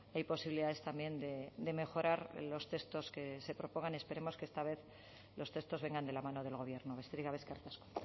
hay posibilidades también de mejorar los textos que se propongan y esperemos que esta vez los textos vengan de la mano del gobierno besterik gabe eskerrik asko